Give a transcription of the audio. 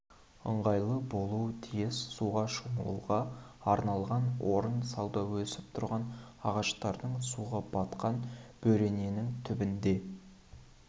ыңғайлы болуы тиіс суға шомылуға арналған орын сауда өсіп тұрған ағаштардың суға батқан бөрененің түбінде